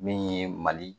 Min ye mali